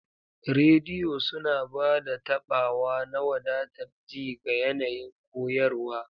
Rediyo suna ba da taɓawa na wadatar ji ga yanayin koyarwa.